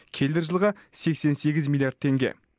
келер жылға сексен сегіз миллиард теңге